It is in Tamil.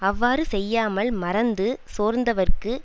அவ்வாறு செய்யாமல் மறந்து சோர்ந்தவர்க்கு